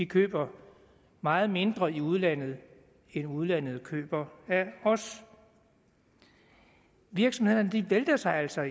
køber vi meget mindre i udlandet end udlandet køber af os virksomhederne vælter sig altså